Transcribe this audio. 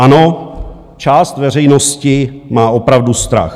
Ano, část veřejnosti má opravdu strach.